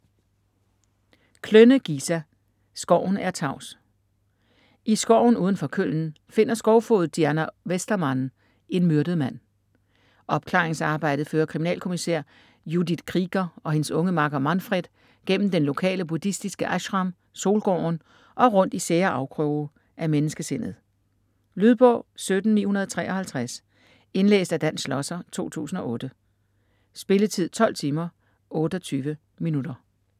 Klönne, Gisa: Skoven er tavs I skoven uden for Köln finder skovfoged Diana Westermann en myrdet mand. Opklaringsarbejdet fører kriminalkommissær Judith Krieger og hendes unge makker Manfred gennem den lokale buddhistiske ashram Solgården og rundt i sære afkroge af menneskesindet. Lydbog 17953 Indlæst af Dan Schlosser, 2008. Spilletid: 12 timer, 28 minutter.